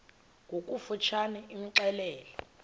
ngokofu tshane imxelele